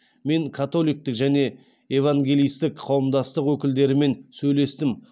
мен католиктік және евангелисттік қауымдастық өкілдерімен сөйлестім